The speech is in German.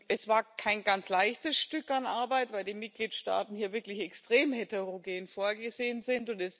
Es war kein ganz leichtes Stück an Arbeit, weil die Mitgliedstaaten hier wirklich extrem heterogen vorgegangen sind.